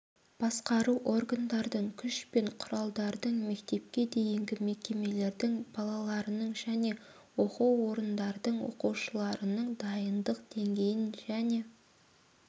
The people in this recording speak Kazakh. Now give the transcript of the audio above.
басқару органдардың күш пен құралдардың мектепке дейінгі мекемелердің балаларының және оқу орындардыңң оқушыларының дайындық деңгейін және